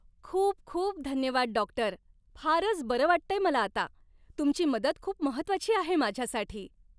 खूप खूप धन्यवाद, डॉक्टर! फारच बरं वाटतंय मला आता. तुमची मदत खूप महत्त्वाची आहे माझ्यासाठी.